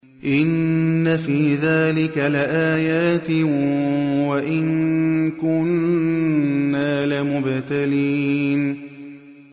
إِنَّ فِي ذَٰلِكَ لَآيَاتٍ وَإِن كُنَّا لَمُبْتَلِينَ